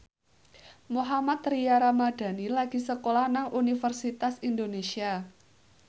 Mohammad Tria Ramadhani lagi sekolah nang Universitas Indonesia